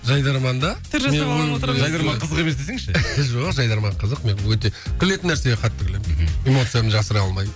жайдарманда жайдарман қызық емес десіңізші жоқ жайдарман қызық мен өте күлетін нәрсеге қатты күлемін мхм эмоциямды жасыра алмаймын